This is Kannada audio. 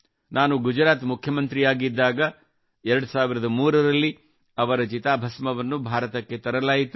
ನಾನು ಗುಜರಾತ್ ಮುಖ್ಯಮಂತ್ರಿಯಾಗಿದ್ದಾಗ 2003 ರಲ್ಲಿ ಅವರ ಚಿತಾಭಸ್ಮವನ್ನು ಭಾರತಕ್ಕೆ ತರಲಾಯಿತು